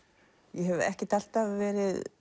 ég hef ekkert alltaf verið